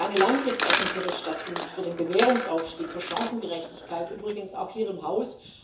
Ich möchte eine Lanze brechen für das Statut, für den Bewährungsaufstieg, für Chancengerechtigkeit übrigens auch hier im Haus.